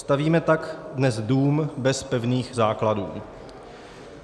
Stavíme tak dnes dům bez pevných základů.